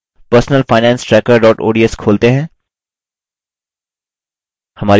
personalfinancetracker ods खोलते हैं